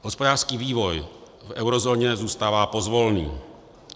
Hospodářský vývoj v eurozóně zůstává pozvolný.